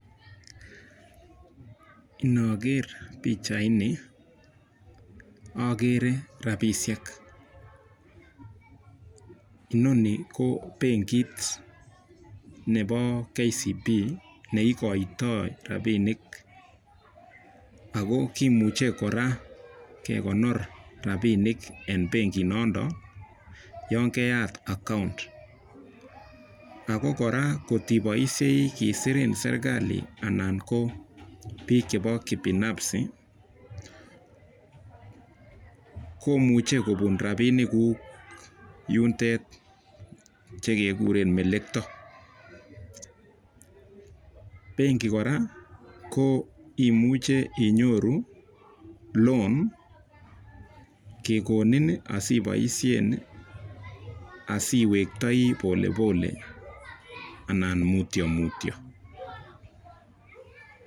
Noger pichaini agere rapishek. noni ko benkit nebo KCB neikoitoi rabinik. Ako kimuchei kora kekonor rabinik eng benkinotok yon keyat account. Ako kora kotiboishei kisirin serkali anan biich chebo kibinafsi komuchei kopun rapinigug yutet chekegure melekto. Benki kora imuche inyoru loan kekonin asiboishen asiwektoi polepole anan mutio mutio.